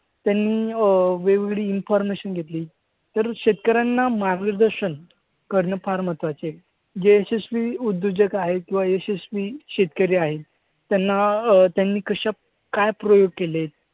त्यांनी अं वेगवेगळी information घेतली. तर शेतकऱ्यांना मार्गदर्शन करणं फार महत्वाचे आहे. जे यशस्वी उद्योजक आहेत किंवा यशस्वी शेतकरी आहेत त्यांना अं त्यांनी कशा काय प्रयोग केलेत?